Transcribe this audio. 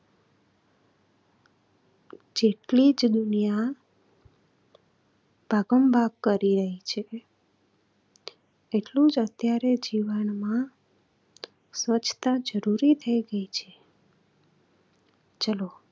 જેટલી જ દુનિયા ભાગમભાગ કરી રહી છ એટલું જ અત્યારે જીવનમાં સ્વચ્છતા જરૂરી થઇ ગયી છે. ચલો